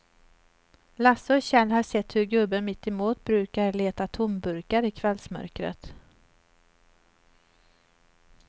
Lasse och Kjell har sett hur gubben mittemot brukar leta tomburkar i kvällsmörkret.